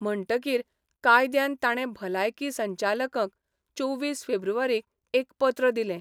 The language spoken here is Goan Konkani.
म्हणटकीर कायद्यान ताणे भलायकी संचालकंक चोवीस फेब्रुवारीक एक पत्र दिलें.